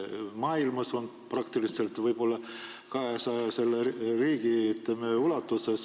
Maailmas on meie riigiga seotud inimesi aga võib-olla 200 riigis.